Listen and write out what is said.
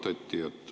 Mida arutati?